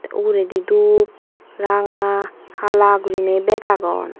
uguredi dup hala ranga gurinei bek agon.